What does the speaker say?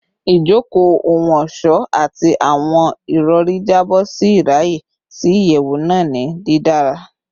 Ijoko ohun-ọṣọ ati awọn irọri jabọ ṣe iraye si iyẹwu naa ni didara